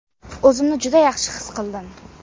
O‘zimni juda yaxshi his qildim.